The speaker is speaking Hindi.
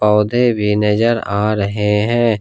पौधे भी नजर आ रहे हैं।